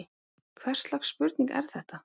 Hvers slags spurning er þetta!